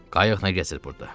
Qayıq nə gəzir burda?